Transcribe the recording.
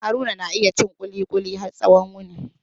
Haruna na iya cin kulikuli har tsawon yini.